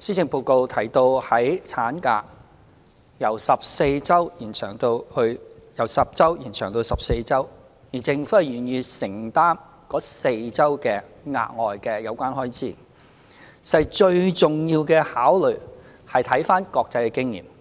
施政報告提到將法定產假由10星期延長至14星期，政府會承擔該4星期的額外薪酬開支，最重要的考慮是由國際經驗看到，